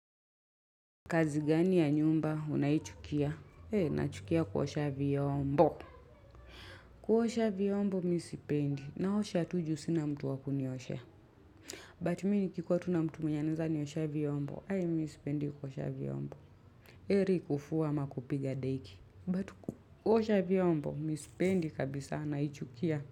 Kazi gani ya nyumba, unayichukia? He, nachukia kuosha vyombo. Kuosha vyombo, misipendi. Naosha tu juu sina mtu wakunioshea. But mimi ni kikikuwa tu na mtu mwenye anaweza nioshea vyombo. Hai, misipendi kuosha vyombo. Heri kufua ama kupiga deki. But kuosha vyombo, mimisipendi kabisa, naichukia.